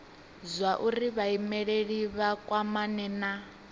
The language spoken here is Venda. zwauri vhaimeleli vha kwamane na